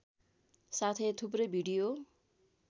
साथै थुप्रै भिडियो